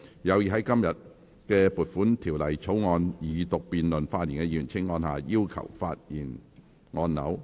有意在今天就撥款條例草案二讀辯論發言的議員，請按下"要求發言"按鈕。